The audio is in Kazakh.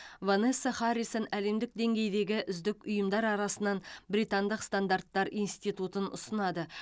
ванесса харрисон әлемдік деңгейдегі үздік ұйымдар арасынан британдық стандарттар институтын ұсынады